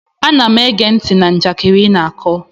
Ana m ege ntị na njakịrị ị na-akọ